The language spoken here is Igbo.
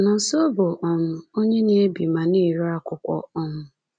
Nonso bụ um onye na-ebi ma na-ere akwụkwọ. um